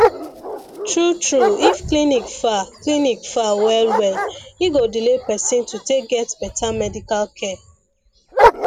true true if clinic far clinic far well well e go delay person to take get better medical care